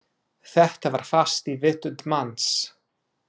Þetta var fast í vitund manns.